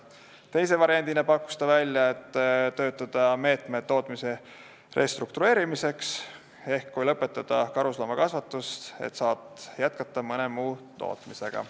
Teise variandina pakkus ta töötada välja meetmed tootmise restruktureerimiseks, ehk kui lõpetada karusloomakasvatus, saaks jätkata mõne muu tootmisega.